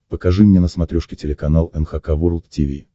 покажи мне на смотрешке телеканал эн эйч кей волд ти ви